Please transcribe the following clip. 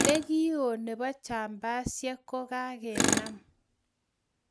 Ne kii ohh nebo jambasiek ko ka ke nam